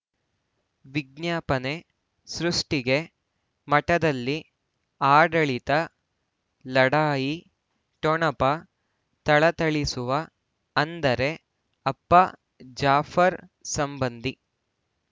ವಿಜ್ಞಾಪನೆ ಸೃಷ್ಟಿಗೆ ಮಠದಲ್ಲಿ ಆಡಳಿತ ಲಢಾಯಿ ಠೊಣಪ ಥಳಥಳಿಸುವ ಅಂದರೆ ಅಪ್ಪ ಜಾಫರ್ ಸಂಬಂಧಿ